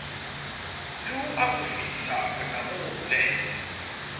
le ho akofisa bonamo le